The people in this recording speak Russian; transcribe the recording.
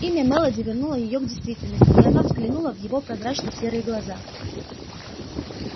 имя мелади вернуло её к действительности и она взглянула в его прозрачно-серые глаза